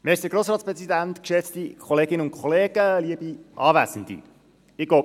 Ich nehme den Ball von Patrick Freudiger auf.